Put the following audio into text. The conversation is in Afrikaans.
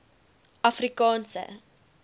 afrikaanse